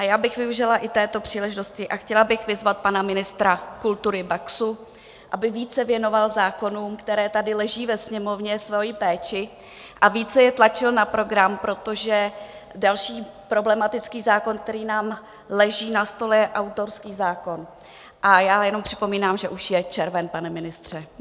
A já bych využila i této příležitosti a chtěla bych vyzvat pana ministra kultury Baxu, aby více věnoval zákonům, které tady leží ve Sněmovně, svoji péči a více je tlačil na program, protože další problematický zákon, který nám leží na stole, je autorský zákon, a já jenom připomínám, že už je červen, pane ministře.